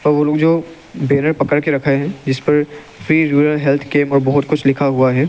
और लोग जो बैनर पकड़ के रखे हैं जिसपर फ्री रूरल हेल्थ कैंप और बहुत कुछ लिखा हुआ है।